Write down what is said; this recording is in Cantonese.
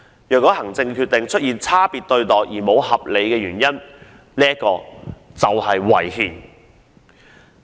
如果行政決定出現差別對待而沒有合理原因，即屬違憲。